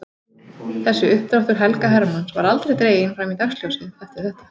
Þessi uppdráttur Helga Hermanns var aldrei dreginn fram í dagsljósið eftir þetta.